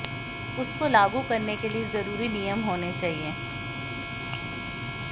उसको लागू करने के लिए ज़रूरी नियम होने चाहिए